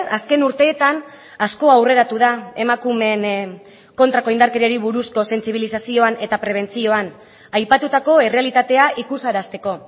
azken urteetan asko aurreratu da emakumeen kontrako indarkeriari buruzko sentsibilizazioan eta prebentzioan aipatutako errealitatea ikusarazteko